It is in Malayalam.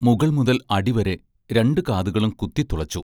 മുകൾ മുതൽ അടിവരെ രണ്ടു കാതുകളും കുത്തിത്തുളച്ചു.